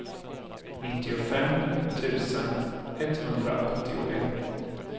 nittiofem tusen etthundraåttioett